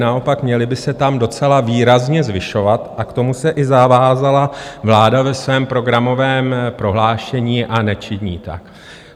Naopak, měly by se tam docela výrazně zvyšovat, a k tomu se i zavázala vláda ve svém programovém prohlášení, a nečiní tak.